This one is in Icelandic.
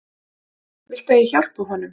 Viltu að ég hjálpi honum?